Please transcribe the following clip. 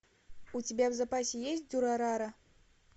у тебя в запасе есть дюрарара